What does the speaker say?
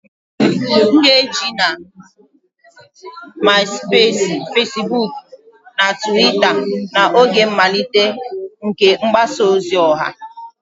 M na-eji MaịSụpeesi, Fesibuukụ na Tụwita n'oge mmalite nke mgbasa ozi ọha.